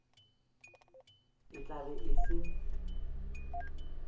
e tla be e se